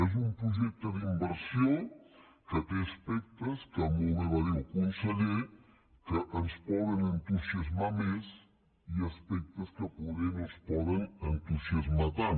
és un projecte d’inversió que té aspectes que molt bé va dirho el conseller ens poden entusiasmar més i aspectes que poder no ens poden entusiasmar tant